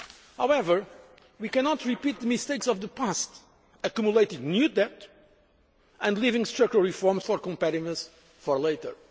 However, we cannot repeat the mistakes of the past, accumulating new debt and leaving structural reforms for competitiveness for later.